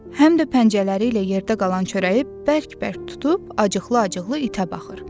Həm də pəncələri ilə yerdə qalan çörəyi bərk-bərk tutub, acıqla-acıqla itə baxır.